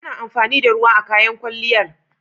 Ana amfani da ruwa a kayan kwalliyar.